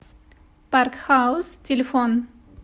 парк хаус телефон